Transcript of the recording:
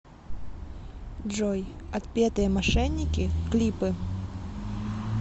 джой отпетые мошенники клипы